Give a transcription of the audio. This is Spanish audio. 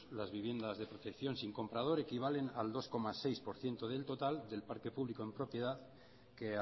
las viviendas de protección sin comprador equivalen al dos coma seis por ciento del total de parte público en propiedad que